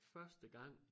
Første gang